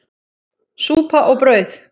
Súpa og brauð.